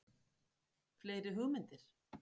Fleiri hugmyndir?